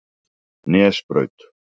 Nesbraut